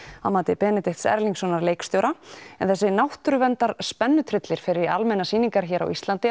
að mati Benedikts Erlingssonar leikstjóra en þessi fer í almennar sýningar hér á Íslandi